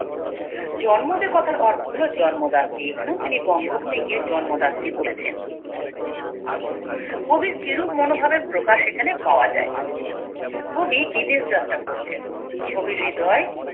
জন্মদে কথার অর্থ হলো জন্মদাত্রী এখানে ও তিনি বঙ্গভূমি কে জন্মদাত্রী বলেছেন কবির কিরূপ মনোভাবের প্রকাশ এখানে পাওয়া যায় কবি বিদেশ যাত্রা করছেন কবির হৃদয়